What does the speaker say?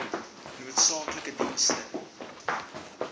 noodsaaklike dienste ter